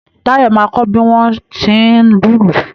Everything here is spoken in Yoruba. Táyọ̀ máa kọ bí wọ́n tí ń lùlù